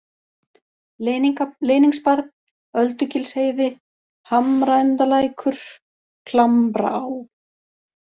Leyningsbarð, Öldugilsheiði, Hamraendalækur, Klambraá